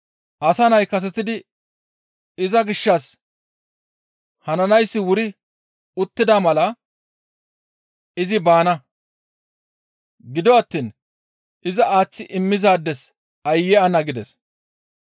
Asa Nay kasetidi iza gishshas hananayssi wuri uttida mala izi baana; gido attiin iza aaththi immizaades aayye ana!» gides.